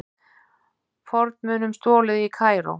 Fornmunum stolið í Kaíró